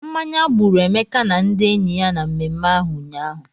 Mmanya gbụrụ Emeka na ndị enyi ya na mmemme ahụ ụnyaahụ.